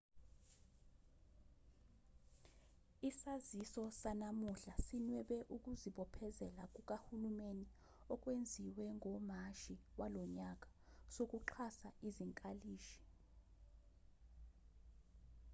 isaziso sanamuhla sinwebe ukuzibophezela kukahulumeni okwenziwe ngomashi walonyaka sokuxhasa izinkalishi